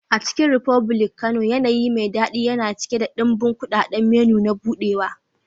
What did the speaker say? A Chicken republic Kano, yanayi mai daɗi yana cike da ɗimbin kuɗaɗen menu na buɗewa.